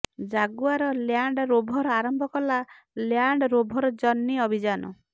Jaguar Land Rover ଆରମ୍ଭ କଲା Land Rover Journey ଅଭିଯାନ